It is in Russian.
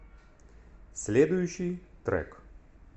следующий трек